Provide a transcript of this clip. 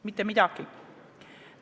Mitte midagi!